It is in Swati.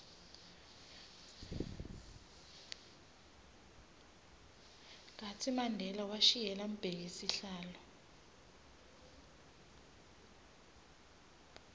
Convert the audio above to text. kartsi mandela washiyela mbheki sihlalo